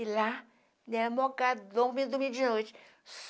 E lá, né, vindo dormir de noite.